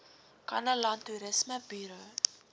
kannaland toerisme buro